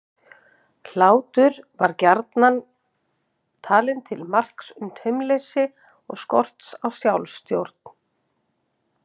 Hlátur var gjarnan talinn til marks um taumleysi og skort á sjálfstjórn.